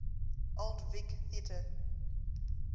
old vic theatre